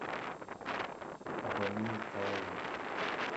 абомей калави